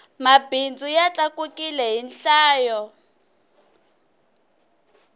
mabindzu ya tlakukile hi nhlayo